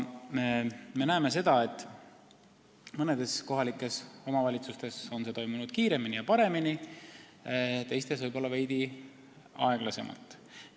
Me näeme seda, et mõnes kohalikus omavalitsuses on see toimunud kiiremini ja paremini, teistes veidi aeglasemalt.